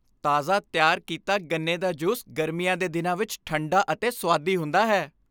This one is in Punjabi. ਤਾਜ਼ਾ ਤਿਆਰ ਕੀਤਾ ਗੰਨੇ ਦਾ ਜੂਸ ਗਰਮੀਆਂ ਦੇ ਦਿਨਾਂ ਵਿਚ ਠੰਡਾ ਅਤੇ ਸੁਆਦੀ ਹੁੰਦਾ ਹੈ।